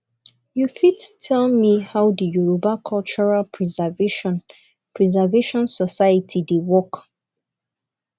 you fit tell me how the yoruba cultural preservation preservation society dey work